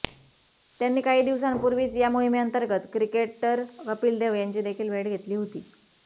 त्यांनी काही दिवसांपूर्वीच या मोहिमेअंतर्गत क्रिकेटर कपिल देव यांची देखील भेट घेतली होती